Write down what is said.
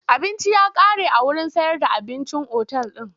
Abinci ya kare a wurin sayar da abincin otal din.